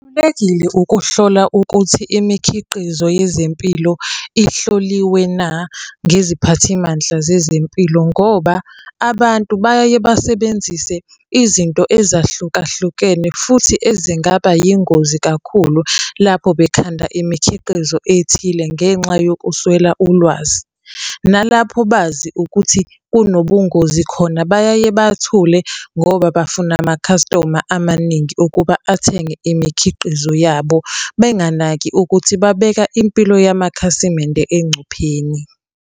ukuhlola ukuthi imikhiqizo yezempilo ihloliwe na, ngeziphathimandla zezempilo, ngoba abantu bayeke basebenzise izinto ezahlukahlukene futhi ezingaba yingozi kakhulu lapho bekhanda imikhiqizo ethile ngenxa yokuswela ulwazi. Nalapho bazi ukuthi kunobungozi khona bayaye bathule ngoba bafuna amakhastoma amaningi ukuba athenge imikhiqizo yabo, benganaki ukuthi babeka impilo yamakhasimende engcupheni.